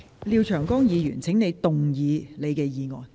廖議員，請動議你的議案。